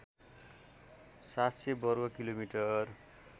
७०० वर्ग किलोमिटर